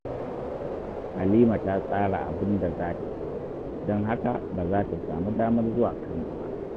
Halima ta tsara abin da za ta yi, don haka ba za ta samu damar zuwa Kano ba